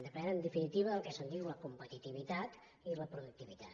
depèn en definitiva del que se’n diu la competitivitat i la productivitat